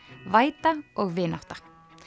væta vinátta